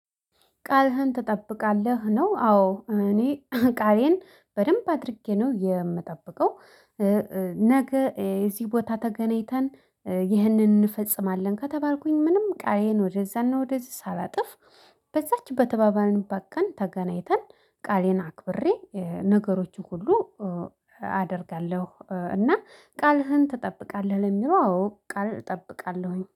ቃልህን ትጠብቃለህ ነው? አዎ እኔ ቃሌን በደንብ አድርጌ ነው የምጠብቀው። ነገ እዚ ቦታ ተገናኝተን ይህንን እንፈጽማለን ከተባልኩኝ ምንም ቃሌን ወደዛና ወደዚ ሳላጥፍ በዛች በተባባልንባት ቀን ተገናኝተን ቃሌን አክብሬ ነገሮችን ሁሉ አደርጋለሁ። እና ቃልህን ትጠብቃለህ ለሚለው አዎ ቃል እጠብቃለሁኝ